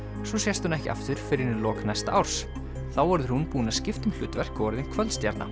svo sést hún ekki aftur fyrr en í lok næsta árs þá verður hún búin að skipta um hlutverk og orðin